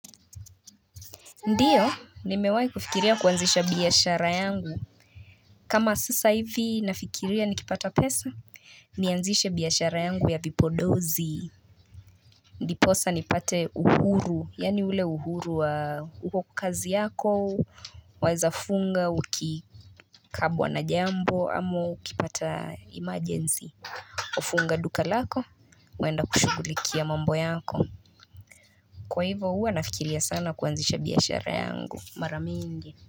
Ndiyo nimewai kufikiria kuanzisha biashara yangu kama sasa hivi nafikiria nikipata pesa nianzishe biashara yangu ya vipodozi ndiposa nipate uhuru yaani ule uhuru wa uko kazi yako waezafunga ukikabwa na jambo ama ukipata emergency ufunga duka lako kuenda kushugulikia mambo yako kwa hivo hua nafikiria sana kuanzisha biashara yangu mara mingi.